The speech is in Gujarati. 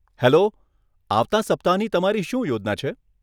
હેલો, આવતાં સપ્તાહની તમારી શું યોજના છે?